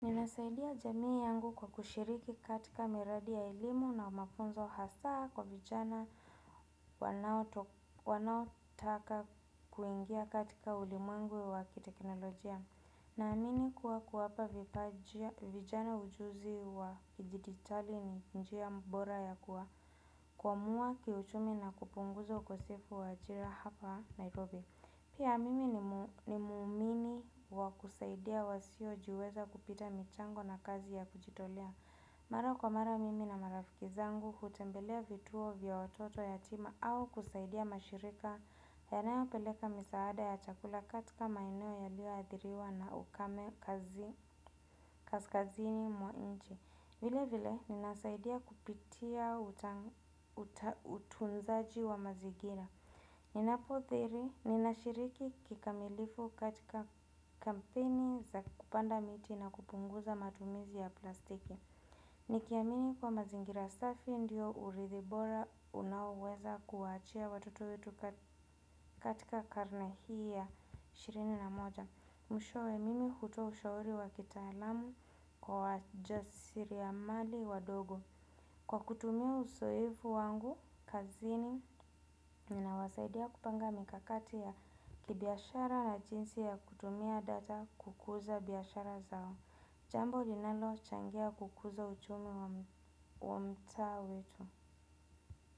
Ninasaidia jamii yangu kwa kushiriki katika miradi ya elimu na mafunzo hasa kwa vijana wanao taka kuingia katika ulimwengu wa kiteknolojia. Na amini kuwa kuwapa vijana ujuzi wa kidijiditali ni njia bora ya kuwa. Kwamua ki uchumi na kupunguza ukosefu wa ajira hapa Nairobi. Pia mimi ni muumini wa kusaidia wasiojiweza kupitia michango na kazi ya kujitolea. Mara kwa mara mimi na marafiki zangu hutembelea vituo vya watoto yatima au kusaidia mashirika yanayo peleka misaada ya chakula katika maeneo yaliyo athiriwa na ukame kaskazini mwa nchi. Vile vile ni nasaidia kupitia utunzaji wa mazingira. Ninapo dhiri, ninashiriki kikamilifu katika kampeni za kupanda miti na kupunguza matumizi ya plastiki. Nikiamini kwa mazingira safi ndio urithi bora unaoweza kuwaachia watoto weuu katika karne hii ya ishirini na moja. Mwishowe, mimi hutoa ushauri wa kitaalamu kwa wajasiriamali wadogo. Kwa kutumia uzoefu wangu kazini, ninawasaidia kupanga mikakati ya kibiashara na jinsi ya kutumia data kukuza biashara zao. Jambo linalo changia kukuza uchumi wa mtaa wetu.